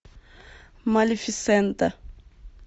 малефисента